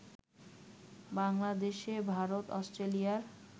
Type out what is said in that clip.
বাংলাদেশে ভারত অস্ট্রেলিয়া